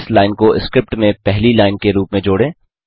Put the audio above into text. इस लाइन को स्क्रिप्ट में पहली लाइन के रूप में जोड़े